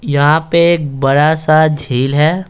यहाँ पे एक बड़ा सा झील है।